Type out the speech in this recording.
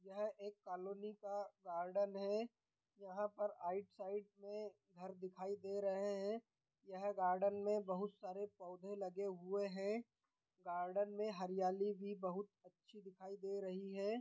यह एक कालोनी का गार्डन है यहाँ पर आइट साइड में घर दिखाई दे रहे हैं यह गार्डन में बहुत सारे पौधे लगे हुए हैं गार्डन में हरियाली भी बहुत अच्छी दिखाई दे रही है।